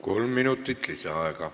Kolm minutit lisaaega.